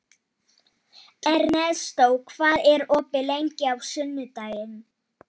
Ernestó, hvað er opið lengi á sunnudaginn?